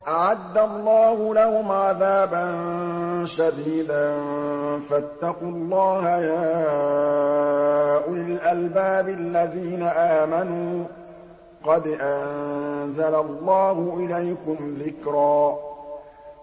أَعَدَّ اللَّهُ لَهُمْ عَذَابًا شَدِيدًا ۖ فَاتَّقُوا اللَّهَ يَا أُولِي الْأَلْبَابِ الَّذِينَ آمَنُوا ۚ قَدْ أَنزَلَ اللَّهُ إِلَيْكُمْ ذِكْرًا